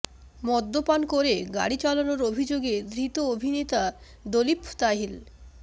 মদ্যপান করে গাড়ি চালানোর অভিযোগে ধৃত অভিনেতা দলীপ তাহিল